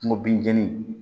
Kungo binjani